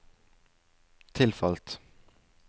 tilfalt